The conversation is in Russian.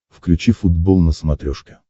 включи футбол на смотрешке